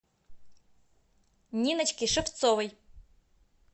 ниночки шевцовой